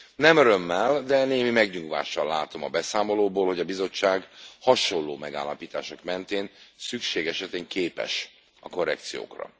Nem örömmel, de némi megnyugvással látom a beszámolóból, hogy a Bizottság hasonló megállapítások mentén szükség esetén képes a korrekciókra.